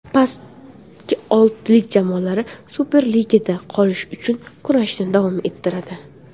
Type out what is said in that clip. Pastki oltilik jamoalari Superligada qolish uchun kurashni davom ettiradi.